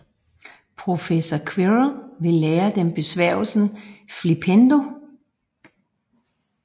Professor Quirrel vil lære dem besværgelsen Flippendo